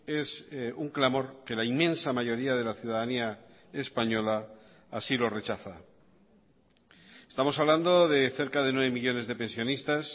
es un clamor que la inmensa mayoría de la ciudadanía española así lo rechaza estamos hablando de cerca de nueve millónes de pensionistas